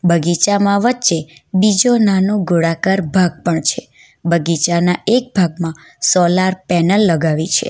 બગીચામાં વચ્ચે બીજો નાનું ગોળાકાર ભાગ પણ છે બગીચાના એક ભાગમાં સોલાર પેનલ લગાવી છે.